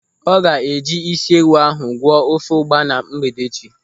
Ọ ga-eji ịsị ewu ahụ gwọọ ofe ụgba na mgbede echi.